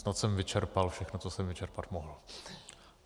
Snad jsem vyčerpal všechno, co jsem vyčerpat mohl.